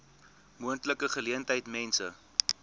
moontlike geleentheid mense